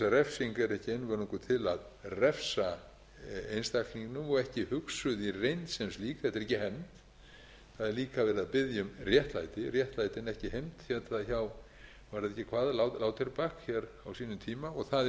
ekki einvörðungu til að refsa einstaklingnum og ekki hugsuð í reynd sem slík þetta er ekki hefnd það er líka verið að biðja um réttlæti réttlæti en ekki hefnd hét það hjá lauterbach á sínum tíma og það